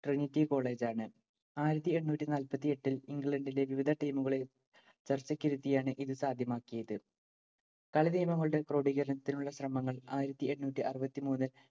trinity college ആണ്. ആയിരത്തി എണ്ണൂറ്റി നാല്‍പത്തിയെട്ടില്‍ ഇംഗ്ലണ്ടിലെ വിവിധ team ഉകളെ ചർച്ചയ്ക്കിരുത്തിയാണ്‌ ഇതു സാധ്യമാക്കിയത്‌. കളിനിയമങ്ങളുടെ ക്രോഡീകരണത്തിനുളള ശ്രമങ്ങൾ ആയിരത്തി എണ്ണൂറ്റി അറുപത്തിമൂന്നില്‍